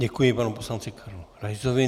Děkuji panu poslanci Karlu Raisovi.